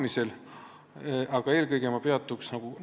Ma peatun eelkõige kolmel suuremal muudatusel.